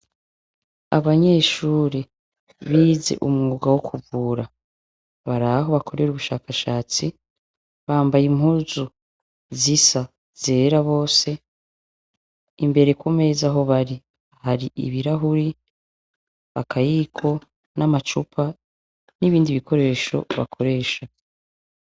Abanyeshure bize umwuga wo kuvura bari aho bakorera ubushakashatsi; bambaye impuzu zisa zera bose. Imbere ku meza aho bari, hari ibirahuri, akayiko n'amacupa, n'ibindi bikoresho bakoresha.